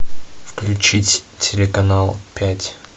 включить телеканал пять